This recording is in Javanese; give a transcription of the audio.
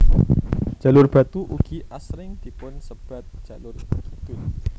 Jalur Batu ugi asring dipun sebat jalur kidul